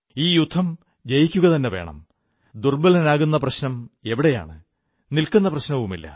ഈ യുദ്ധം ജയിക്കുകതന്നെ വേണം ദുർബ്ബലനാകുകയെന്ന പ്രശ്നമെവിടെയാണ് നിൽക്കുന്ന പ്രശ്നവുമില്ല